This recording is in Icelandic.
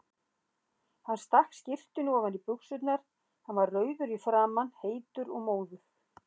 Hann stakk skyrtunni ofan í buxurnar, hann var rauður í framan, heitur og móður.